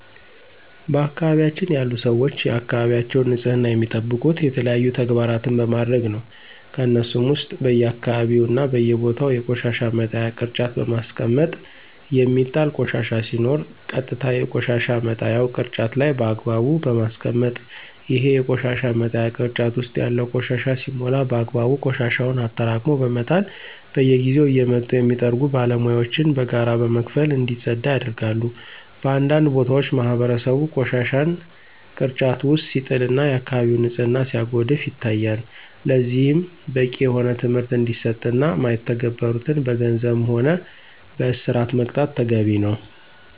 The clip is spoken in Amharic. በአካባቢያችን ያሉ ሰወች የአካባቢያቸውን ንፅህና የሚጠብቁት የተለያዩ ተግባራን በማድረግ ነው። ከነሱሞ ውስጥ በየአካባቢው እና በየቦታው የቆሻሻ መጣያ ቅርጫት በማስቀመጥ የሚጣል ቆሻሻ ሲኖር ቀጥታ የቆሻሻ መጣያው ቅርጫት ላይ በአግባቡ በማስቀመጥ፣ ይሄ የቆሻሻ መጣያ ቅርጫት ውስጥ ያለው ቆሻሻ ሲሞላ በአግባቡ ቆሻሻውን አጠራቅሞ በመጣል፣ በየጊዜው እየመጡ የሚጠርጉ ባለሙያወችን በጋራ በመክፈል እንዲፀዳ ያደርጋሉ። በአንዳንድ ቦታዎች ማህበረሰቡ ቆሻሻን ግርጫት ውጭ ሲጥል እና የአከባቢውን ንፅህና ሲያጎድፍ ይታያል። ለዚህም በቂ የሆነ ትምህርት እንዲሰጥ እና ማይተገብሩትን በገንዘብም ሆነ በእስር መቅጣት ተገቢ ነው።